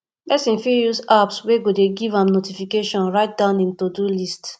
person fit use apps wey go dey give am notification write down im todo list